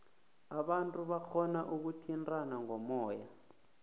abantu barhona ukuthintana ngomoya